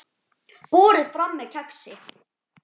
Borið fram með kexi.